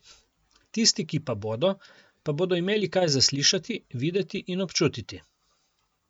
Tisti, ki pa bodo, pa bodo imeli kaj za slišati, videti in občutiti.